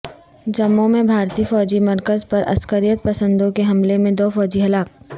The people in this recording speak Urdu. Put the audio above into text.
جموں میں بھارتی فوجی مرکز پر عسکریت پسندوں کے حملے میں دو فوجی ہلاک